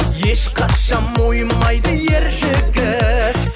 ешқашан мойымайды ер жігіт